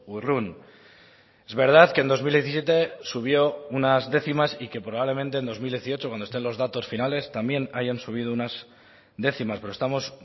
urrun es verdad que en dos mil diecisiete subió unas décimas y que probablemente en dos mil dieciocho cuando estén los datos finales también hayan subido unas décimas pero estamos